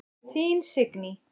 Þín Signý.